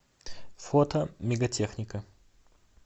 фото мегатехника